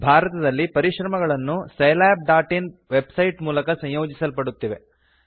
ಭಾರತದಲ್ಲಿ ಪರಿಶ್ರಮಗಳನ್ನು scilabಇನ್ ವೆಬ್ಸೈಟ್ ಮೂಲಕ ಸಂಯೋಜಿಸಲ್ಪಡುತ್ತಿವೆ